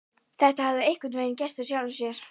Þetta hafði einhvern veginn gerst af sjálfu sér.